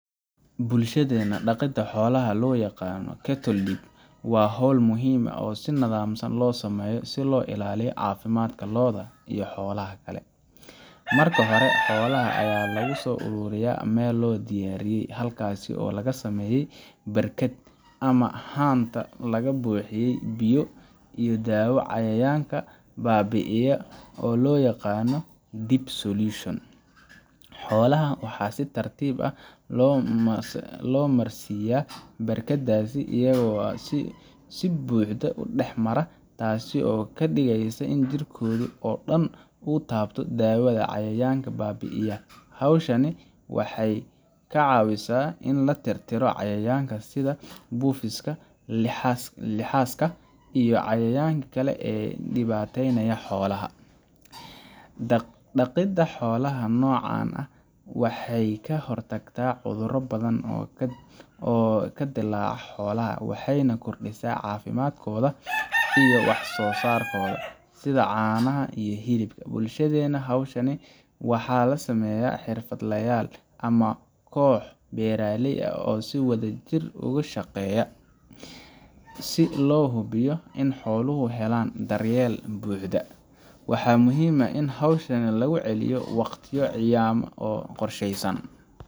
Bulshadeena, dhaqidda xoolaha ee loo yaqaan cattle dip waa hawl muhiim ah oo si nidaamsan loo sameeyo si loo ilaaliyo caafimaadka lo’da iyo xoolaha kale. Marka hore, xoolaha ayaa lagu soo ururiyaa meel loo diyaariyay, halkaas oo laga sameeyay barkad ama haanta laga buuxiyay biyo iyo daawo cayayaanka baabi’iya oo loo yaqaan dip solution. Xoolaha waxaa si tartiib ah loogu marsiiyaa barkaddaas, iyaga oo si buuxda u dhex mara, taasoo ka dhigaysa in jirkooda oo dhan uu taabto daawada cayayaanka baabi’iya. Hawshan waxay ka caawisaa in la tirtiro cayayaanka sida buufiska, lixaska, iyo cayayaanka kale ee ku dhibaataynaya xoolaha. Dhaqidda xoolaha noocan ah waxay ka hortagtaa cuduro badan oo ka dilaaca xoolaha, waxayna kordhisaa caafimaadkooda iyo wax soosaarkooda, sida caanaha iyo hilibka. Bulshadeena, hawshan waxaa sameeya xirfadlayaal ama kooxo beeralay ah oo si wadajir ah uga shaqeeya, si loo hubiyo in xooluhu helaan daryeel buuxda. Waxaa muhiim ah in hawshan lagu celiyo waqtiyo cayiman oo qorshaysan,